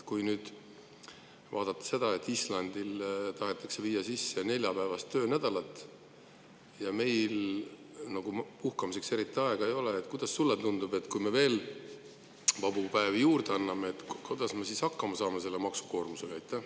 Kui vaadata seda, et Islandil tahetakse viia sisse neljapäevast töönädalat ja meil nagu puhkamiseks eriti aega ei ole, siis kuidas sulle tundub: kui me veel vabu päevi juurde anname, siis kuidas me hakkama saame selle maksukoormusega?